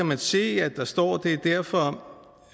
man se at der står det er derfor